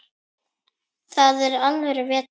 Þar er alvöru vetur.